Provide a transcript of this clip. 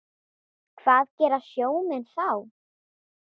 Hvað gera sjómenn þá?